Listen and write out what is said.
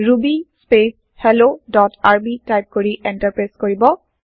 Ruby spec help dot R B type কৰি enter press কৰিব